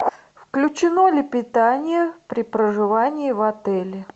включено ли питание при проживании в отеле